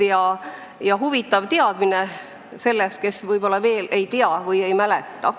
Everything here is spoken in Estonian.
Väga huvitav lugemine sellel teemal neile, kes võib-olla seda kõike ei tea või ei mäleta.